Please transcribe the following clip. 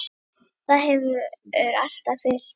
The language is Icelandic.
Það hefur alltaf fylgt mér.